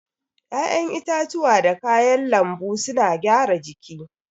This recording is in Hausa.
ya'yan itatuwa da kayan lanbu suna gyara jiki.